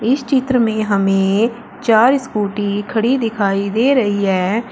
इस चित्र में हमें चार स्कूटी खड़ी दिखाई दे रही है।